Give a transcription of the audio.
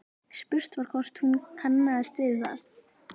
Spurt var hvort hún kannaðist við það?